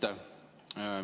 Aitäh!